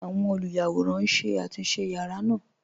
Awọn olúyàwòran n ṣé àtúnṣe yàra naa.